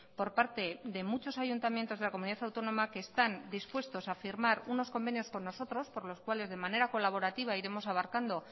por parte de muchos ayuntamientos de la comunidad autónoma que están dispuestos a firmar unos convenios con nosotros por los cuales de manera colaborativa iremos abarcando